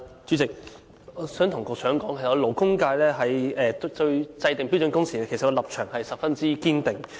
主席，我想告訴局長，勞工界對制訂標準工時的立場十分堅定。